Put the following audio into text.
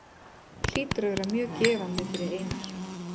Hlýtur að vera mjög gefandi fyrir Einar.